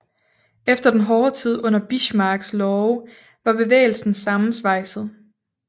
Efter den hårde tid under Bismarcks love var bevægelsen sammensvejset